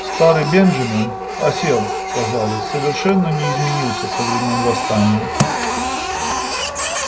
старый бенджамин осел казалось совершенно не изменился со времён восстания